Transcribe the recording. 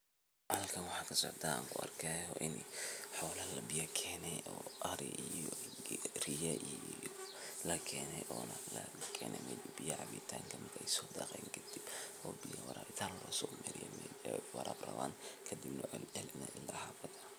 Halkan waxaa kasocdaa aan kuarkihayaa in xola labiya keeni oo ari iyo riya iyo lakene ona lakene meel biya cabitaan kamid eh ey sodaqeen kadib oo biya waraabitaan losomariye ey waraab rawan kadib neh lacalinayo ila xafada.